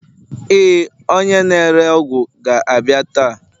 Ee, onye na-ere ọgwụ ga-abịa taa.